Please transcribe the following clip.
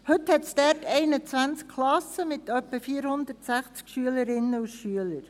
Heute gibt es dort 21 Klassen mit etwa 460 Schülerinnen und Schülern.